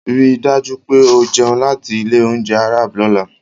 Rí i dájú pé o jẹun láti ilé-oúnjẹ Arab lọ́la.